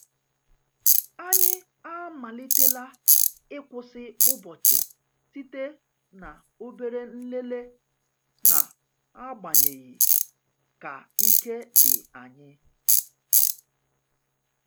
Anyị amalitela ịkwụsị ụbọchị site na obere nlele, na-agbanyeghi ka ike di anyi.